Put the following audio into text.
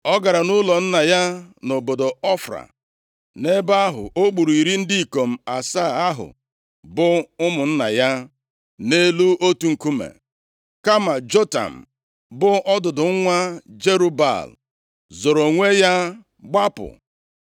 Ọ gara nʼụlọ nna ya nʼobodo Ofra. Nʼebe ahụ, o gburu iri ndị ikom asaa ahụ bụ ụmụnna ya nʼelu otu nkume. Kama Jotam, bụ ọdụdụ nwa Jerub-Baal, zoro onwe ya gbapụ.